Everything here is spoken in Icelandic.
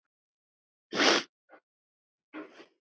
Anna frænka er látin.